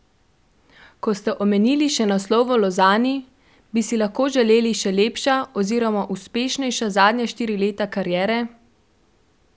Ko ste omenili še naslov v Lozani, bi si lahko želeli še lepša oziroma uspešnejša zadnja štiri leta kariere?